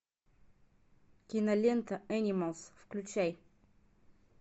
кинолента энималс включай